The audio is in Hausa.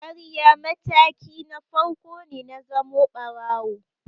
Ƙarya mataki na farko ne na zamo ɓarawo.